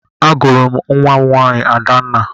Agụrụ m nwa m nwaanyị Adanna.